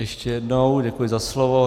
Ještě jednou děkuji za slovo.